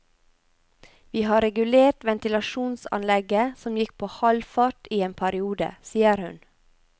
Vi har regulert ventilasjonsanlegget, som gikk på halv fart i en periode, sier hun.